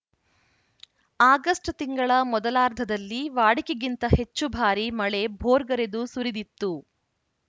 August ತಿಂಗಳ ಮೊದಲಾರ್ಧದಲ್ಲಿ ವಾಡಿಕೆಗಿಂತ ಹೆಚ್ಚು ಭಾರಿ ಮಳೆ ಭೋರ್ಗರೆದು ಸುರಿದಿತ್ತು